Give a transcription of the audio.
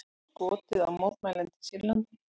Skotið á mótmælendur í Sýrlandi